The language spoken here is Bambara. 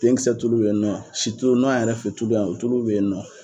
Tenkisɛ tulu be yen nɔ. Situlu an yɛrɛ fɛ tulu yan o tutu be yen nɔ.